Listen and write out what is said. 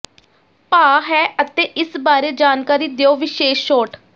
ਭਾਅ ਹੈ ਅਤੇ ਇਸ ਬਾਰੇ ਜਾਣਕਾਰੀ ਦਿਓ ਵਿਸ਼ੇਸ਼ ਛੋਟ